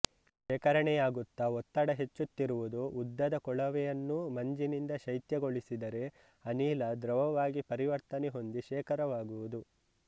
ಶೇಖರಣೆಯಾಗುತ್ತ ಒತ್ತಡ ಹೆಚ್ಚುತ್ತಿರುವುದು ಉದ್ದದ ಕೊಳವೆಯನ್ನೂ ಮಂಜಿನಿಂದ ಶೈತ್ಯಗೊಳಿಸಿದರೆ ಅನಿಲ ದ್ರವವಾಗಿ ಪರಿವರ್ತನೆ ಹೊಂದಿ ಶೇಖರವಾಗುವುದು